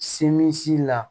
Semisi la